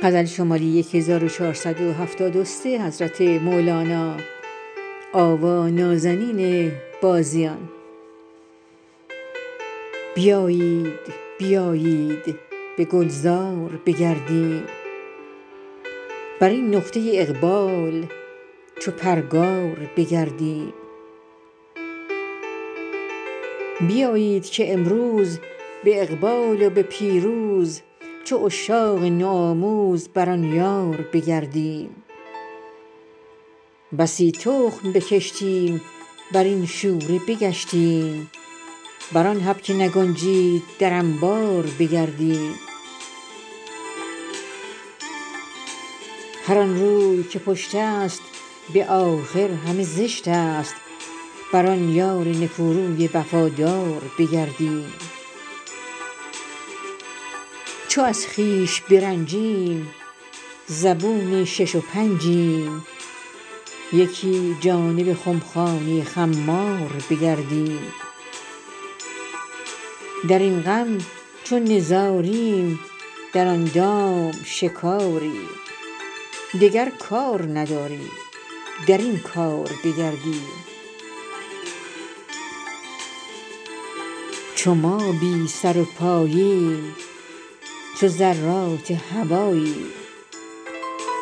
بیایید بیایید به گلزار بگردیم بر این نقطه اقبال چو پرگار بگردیم بیایید که امروز به اقبال و به پیروز چو عشاق نوآموز بر آن یار بگردیم بسی تخم بکشتیم بر این شوره بگشتیم بر آن حب که نگنجید در انبار بگردیم هر آن روی که پشت است به آخر همه زشت است بر آن یار نکوروی وفادار بگردیم چو از خویش برنجیم زبون شش و پنجیم یکی جانب خمخانه خمار بگردیم در این غم چو نزاریم در آن دام شکاریم دگر کار نداریم در این کار بگردیم چو ما بی سر و پاییم چو ذرات هواییم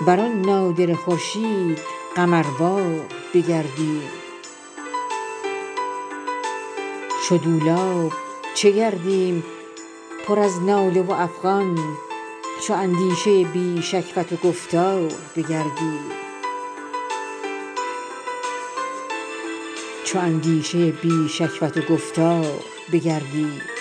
بر آن نادره خورشید قمروار بگردیم چو دولاب چه گردیم پر از ناله و افغان چو اندیشه بی شکوت و گفتار بگردیم